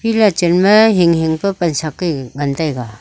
ega cham ley hing hing pe pan sak ke ngan taiga.